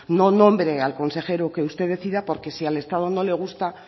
no nombre al consejero que usted decida porque si al estado no le gusta